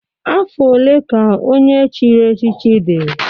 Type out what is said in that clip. Afọ one ka onye echiri echichi dị?